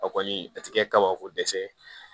A kɔni a tɛ kɛ kabako dɛsɛ